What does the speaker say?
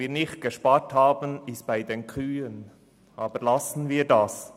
Nicht gespart haben wir bei den Kühen – aber lassen wir das.